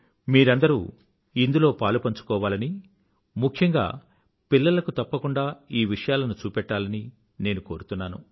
మీరందరూ ఇందులో పాలుపంచుకోవాలని ముఖ్యంగా పిల్లలకు తప్పకుండా ఈ విషయాలను చూపెట్టాలని నేను కోరుతున్నాను